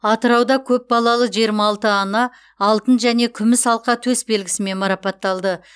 атырауда көп балалы жиырма алты ана алтын және күміс алқа төсбелгісімен марапатталды